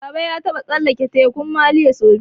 Baba ya taɓa ƙetara Tekun Maliya sau biyu